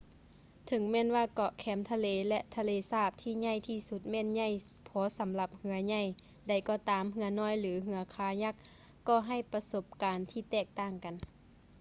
ເຖິງແມ່ນວ່າເກາະແຄມທະເລ ແລະ ທະເລສາບທີ່ໃຫຍ່ທີ່ສຸດແມ່ນໃຫຍ່ພໍສຳລັບເຮືອໃຫຍ່ໃດກໍຕາມ ເຮືອນ້ອຍ ຫຼື ເຮືອຄາຍັກກໍໃຫ້ປະສົບການທີ່ແຕກຕ່າງກັນ